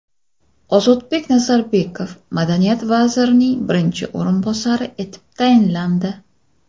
Ozodbek Nazarbekov madaniyat vazirining birinchi o‘rinbosari etib tayinlandi.